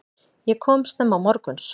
Ég kom snemma morguns.